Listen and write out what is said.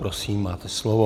Prosím, máte slovo.